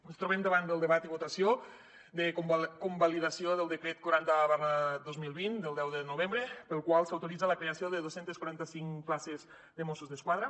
ens trobem davant del debat i votació de convalidació del decret quaranta dos mil vint del deu de novembre pel qual s’autoritza la creació de dos cents i quaranta cinc places de mossos d’esquadra